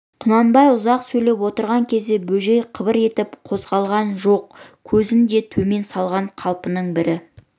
құнанбай ұзақ сөйлеп отырған кезде бөжей қыбыр етіп қозғалған жоқ көзін де төмен салған қалпынан бір